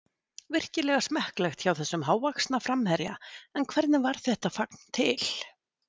Virkilega smekklegt hjá þessum hávaxna framherja en hvernig varð þetta fagn til?